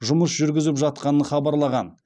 жұмыс жүргізіп жатқанын хабарлаған